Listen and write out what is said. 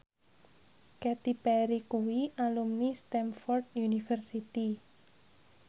Katy Perry kuwi alumni Stamford University